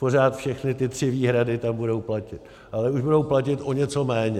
Pořád všechny ty tři výhrady tam budou platit, ale už budou platit o něco méně.